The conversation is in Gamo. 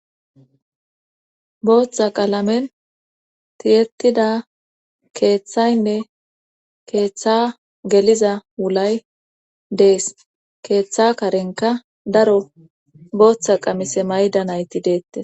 Booththa qaalamen tiyetida keeththaynne keeththa geliza wulay dees keeththa karenka daro booththa qamise mayda nayti deette.